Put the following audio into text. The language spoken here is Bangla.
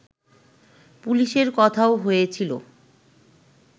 পুলিশের কথাও হয়েছিল